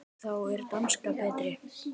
Þá er danskan betri.